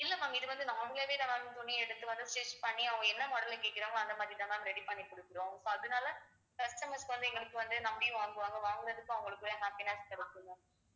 இல்லை ma'am இது வந்து நான் அவுங்களாவேதான் துணியை எடுத்து வந்து stitch பண்ணி அவங்க என்ன model கேட்கறாங்களோ அந்த மாதிரிதான் ma'am ready பண்ணி கொடுக்கிறோம் so அதனால customers வந்து எங்களுக்கு வந்து நம்பியும் வாங்குவாங்க வாங்குறதுக்கும் அவங்களுக்கும் happiness கிடைக்கும் ma'am